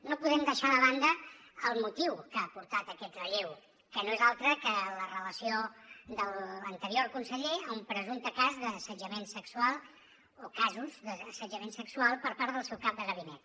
no podem deixar de banda el motiu que ha portat a aquest relleu que no és altre que la relació de l’anterior conseller amb un presumpte cas d’assetjament sexual o casos d’assetjament sexual per part del seu cap de gabinet